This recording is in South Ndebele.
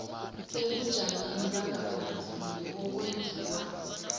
ebujameni bangaphambilini okwenziwa